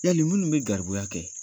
Yali minnu bɛ garibu kɛ